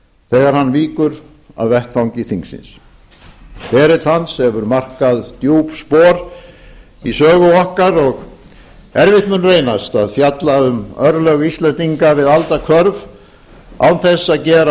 þegar hann víkur af vettvangi þingsins ferill hans hefur markað djúp spor í sögu okkar og erfitt mun reynast að fjalla um örlög íslendinga við aldahvörf án þess að gera